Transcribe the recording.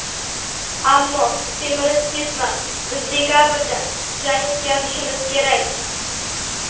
Ammo semirib ketma, biz dekabrda jang o‘tkazishimiz kerak.